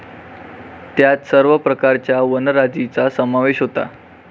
त्यात सर्व प्रकारच्या वंराजीचा समावेश होता.